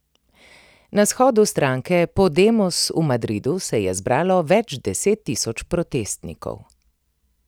Na shodu stranke Podemos v Madridu se je zbralo več desettisoč protestnikov.